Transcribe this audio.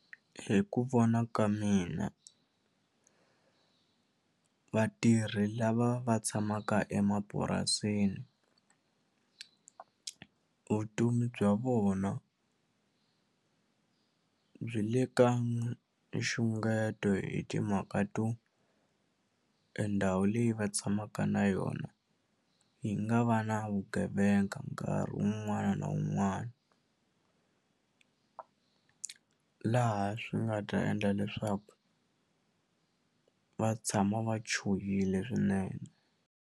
Hi ku vona ka mina vatirhi lava va tshamaka emapurasini vutomi bya vona byi le ka nxungeto hi timhaka to e ndhawu leyi va tshamaka na yona yi nga va na vugevenga nkarhi wun'wana na wun'wana laha swi nga ta endla leswaku va tshama va chuhile swinene.